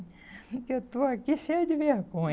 Que eu estou aqui cheia de vergonha.